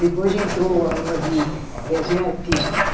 Depois entrou a uma de desenho artístico.